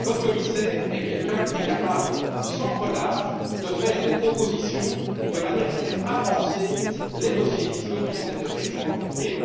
Votre commissaire est quelqu'un qui est capable, sans relâche, de faire des propositions de manière à faire avancer les dossiers fiscaux qui sont des dossiers extrêmement compliqués.